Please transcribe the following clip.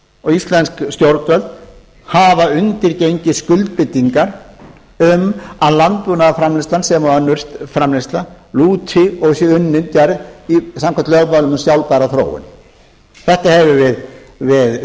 og íslensk stjórnvöld hafa undirgengist skuldbindingar um að landbúnaðarframleiðslan sem og önnur framleiðsla lúti og sé unnin gerð samkvæmt lögmálum um sjálfbæra þróun þetta höfum við